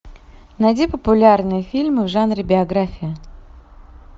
найди популярные фильмы в жанре биография